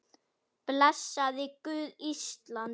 Blessaði Guð Ísland?